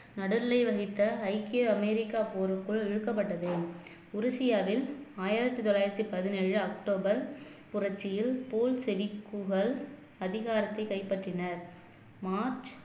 நடுநிலை வகித்த ஐக்கிய அமெரிக்கா போருக்குள் இழுக்கப்பட்டது உருசியாவில் ஆயிரத்தி தொள்ளாயிரத்தி பதினேழு அக்டோபர் புரட்சியில் தோல் செவிக்குகள் அதிகாரத்தை கைப்பற்றினர் மார்ச்